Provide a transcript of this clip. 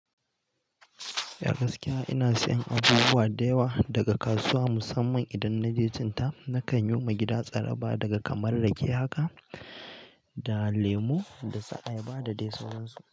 Ah gaskiya ina sayen abubuwa daga kasuwa musamman idan na je cinta. Nakan yo ma gida tsaraba daga kamar rake haka da lemu dasu ayaba da dai sauransu.